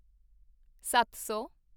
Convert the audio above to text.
ਸੱਤ ਸੌ